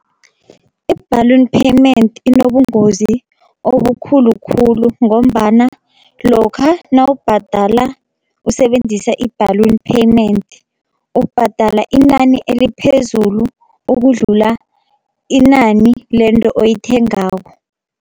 I-balloon payment inobungozi obukhulu khulu, ngombana lokha nawubhadala usebenzisa i-balloon payment ubhadala inani eliphezulu ukudlula inani lento oyithengako.